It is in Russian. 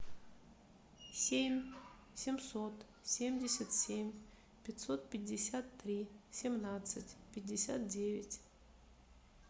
семь семьсот семьдесят семь пятьсот пятьдесят три семнадцать пятьдесят девять